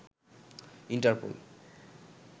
Interpol